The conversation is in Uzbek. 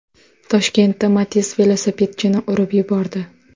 Toshkentda Matiz velosipedchini urib yubordi.